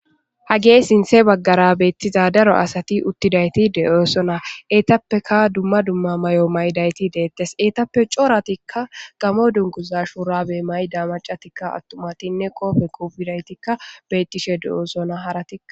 Hagee sinthe baggara beettiza daro asati uttidayti de'oosona eetappeka dumma dumma may'o maydayti deettes eetappe cooratikka gamo dunkuza shuurabe may da macatikka attumatinne qoofe qobidaytikka beettishe de'oosona haratia.